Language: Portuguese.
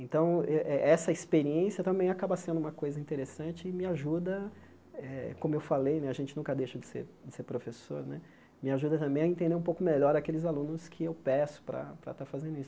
Então, eh eh eh essa experiência também acaba sendo uma coisa interessante e me ajuda eh, como eu falei né, a gente nunca deixa de ser de ser professor né, me ajuda também a entender um pouco melhor aqueles alunos que eu peço para para estar fazendo isso.